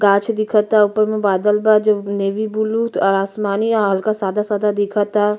गाच्छ दिखता। ऊपर में बादल बा जो नेवी ब्लू और आसमानी आ हल्का सादा सादा दिखता।